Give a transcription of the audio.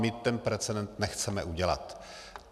My ten precedent nechceme udělat.